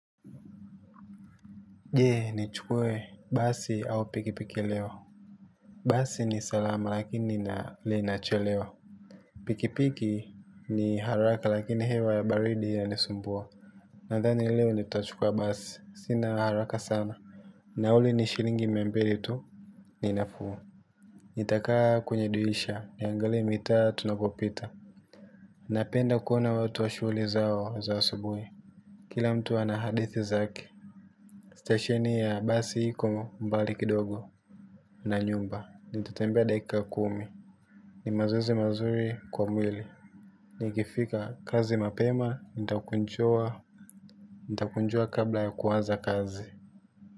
Je nichukue basi au pikipiki leo. Basi ni salama lakini linachelewa. Pikipiki ni haraka lakini hewa ya baridi yanisumbua. Nadhani leo nitachukua basi sina haraka sana. Nauli ni shillingi mia mbili tu. Ninafuu nitakaa kwenye dirisha niangalie mitaa tunavyopita. Napenda kuona watu wa shughuli zao za asubui. Kila mtu ana hadithi zake. Stesheni yaa basi iko mbali kidogo na nyumba, nitatembea dakika kumi. Ni mazoezi mazuri kwa mwili. Nikifika kazi mapema, nitakunjua kabla ya kuanza kazi.